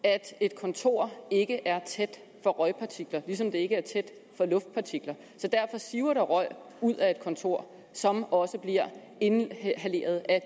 at et kontor ikke er tæt for røgpartikler ligesom det ikke er tæt for luftpartikler så derfor siver der røg ud af et kontor som også bliver inhaleret af